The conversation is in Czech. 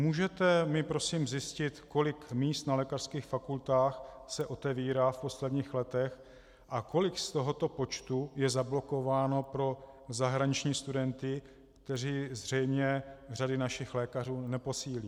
Můžete mi prosím zjistit, kolik míst na lékařských fakultách se otevírá v posledních letech a kolik z tohoto počtu je zablokováno pro zahraniční studenty, kteří zřejmě řady našich lékařů neposílí?